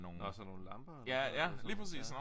Nårh sådan nogle lamper eller sådan noget ja